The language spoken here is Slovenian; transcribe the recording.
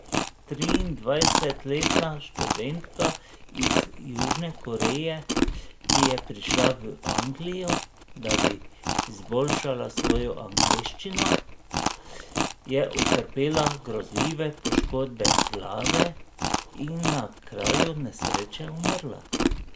Triindvajsetletna študentka iz Južne Koreje, ki je prišla v Anglijo, da bi izboljšala svojo angleščino, je utrpela grozljive poškodbe glave in na kraju nesreče umrla.